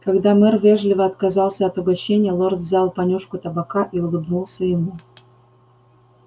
когда мэр вежливо отказался от угощения лорд взял понюшку табака и улыбнулся ему